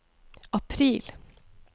april